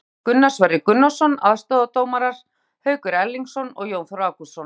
Dómari: Gunnar Sverrir Gunnarsson, aðstoðardómarar Haukur Erlingsson og Jón Þór Ágústsson.